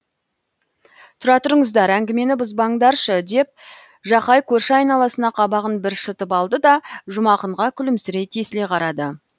тұра тұрыңыздар әңгімені бұзбаңдаршы деп жақай көрші айналасына қабағын бір шытып алды да жұмақынға күлімсірей тесіле қарады